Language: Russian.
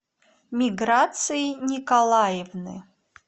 миграции николаевны